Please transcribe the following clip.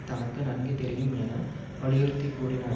தனக்கு நன்கு தெரியும் என வலியுறுத்தி கூறினார்